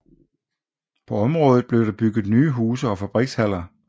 På området blev der bygget nye huse og fabrikshaller